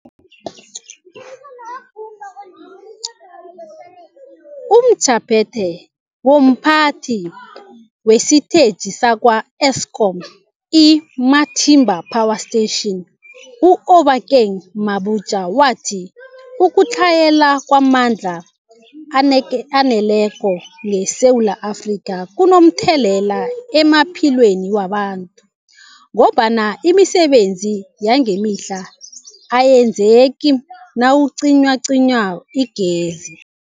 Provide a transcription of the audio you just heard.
UmJaphethe womPhathi wesiTetjhi sakwa-Eskom i-Matimba Power Station u-Obakeng Mabotja wathi ukutlhayela kwamandla aneleko ngeSewula Afrika kunomthelela emaphilweni wabantu ngombana imisebenzi yangemihla ayenzeki nakucinywacinywa igezi.